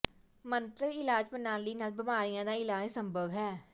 ਮੰਤਰ ਇਲਾਜ ਪ੍ਰਣਾਲੀ ਨਾਲ ਬਿਮਾਰੀਆਂ ਦਾ ਇਲਾਜ ਸੰਭਵ ਹੈ